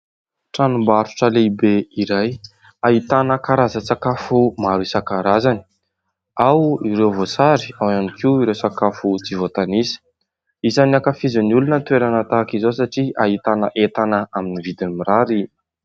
Tranombarotra lehibe iray ahitana karazan-tsakafo maro isankarazany, ao ireo voasary, ao ihany koa ireo sakafo tsy voatanisa. Isany ankafizin'ny olona ny toerana tahaka izao satria ahitana entana amin'ny vidiny mirary.